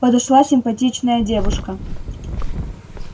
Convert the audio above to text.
подошла симпатичная девушка